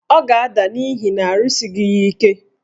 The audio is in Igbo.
Ọ ga-ada n'ihi na arụsighi ya ike.